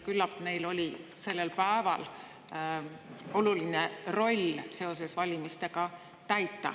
Küllap neil oli sellel päeval oluline roll seoses valimistega täita.